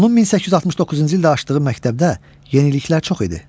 Onun 1869-cu ildə açdığı məktəbdə yeniliklər çox idi.